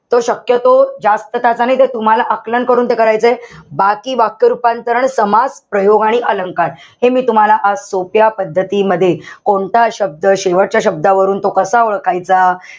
तो शक्यतो जास्त त्याचा नाई ते तुम्हाला आकलन करून करायचंय. बाकी वाक्य रूपांतरण, समाज, प्रयोग आणि अलंकार हे मी तुम्हाला आज सोप्या पद्धतीमध्ये कोणता शब्द शेवटच्या शब्दावरून तो कसा ओळखायचा,